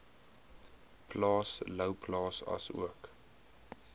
plaas louwplaas asook